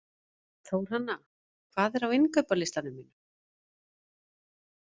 Þórhanna, hvað er á innkaupalistanum mínum?